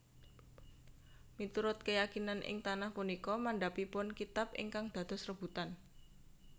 Miturut keyakinan ing tanah punika mandhapipun kitab ingkang dados rebutan